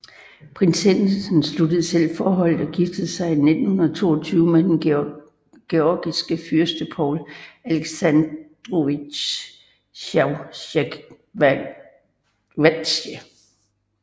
Prinsessen sluttede selv forholdet og giftede sig i 1922 med den georgiske fyrste Paul Aleksandrovitj Chavchavadze